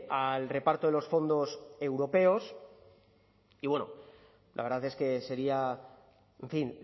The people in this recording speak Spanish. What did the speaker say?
al reparto de los fondos europeos y bueno la verdad es que sería en fin